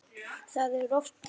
Það er oft þannig.